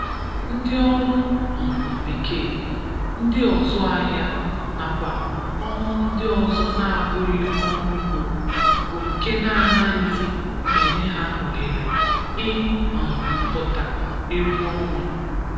ndị ọrụ um bekee, ndị ọzụ ahịa nakwa ọrụ ndị ọzọ na-abụghị ọrụ ugbo bụ nke na-anaghịzị enye ha ohere ị um pụta egwu ọnwa.